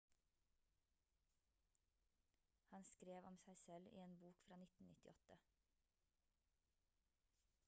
han skrev om seg selv i en bok fra 1998